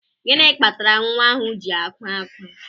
Gịnị kpatara nwa ahụ ji akwa ákwá?